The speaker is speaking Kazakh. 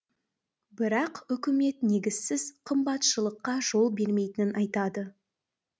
бірақ үкімет негізсіз қымбатшылыққа жол бермейтінін айтады